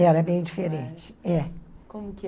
Era bem diferente, é. Como que